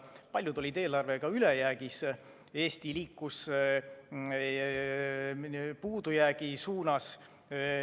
Paljud olid eelarvega ülejäägis, Eesti liikus puudujäägi suunas.